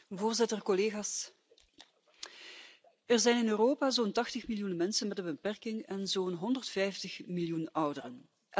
Voorzitter, er zijn in Europa zo'n 80 miljoen mensen met een beperking en zo'n 150 miljoen ouderen.